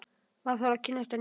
Maður þarf að kynnast henni!